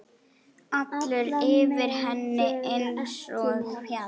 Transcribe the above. Allur yfir henni einsog fjall.